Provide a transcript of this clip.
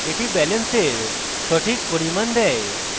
that ব্যালেন্সের সঠিক পরিমাণ দেয়